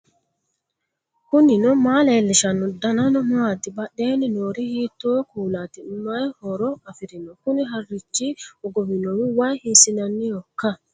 knuni maa leellishanno ? danano maati ? badheenni noori hiitto kuulaati ? mayi horo afirino ? kuni harichi hogowinohu wayi hiissinannihoikka